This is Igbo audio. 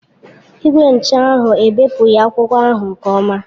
Igwe ncha ahụ ebepụghị akwụkwọ ahụ nke ọma.